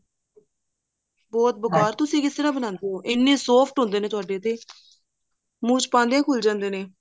ਬਹੁਤ ਬੇਕਾਰ ਤੁਸੀਂ ਕਿਸ ਤਰ੍ਹਾਂ ਬਣਾਉਂਦੇ ਹੋ ਇੰਨੇ soft ਹੁੰਦੇ ਨੇ ਤੁਹਾਡੇ ਤੇ ਮੁੰਹ ਚ ਪਾਉਂਦਿਆਂ ਹੀ ਘੁਲ ਜਾਂਦੇ ਨੇ